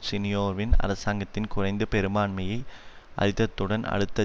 சினியோவின் அரசாங்கத்தின் குறைந்த பெரும்பான்மையை அரித்தத்துடன் அடுத்த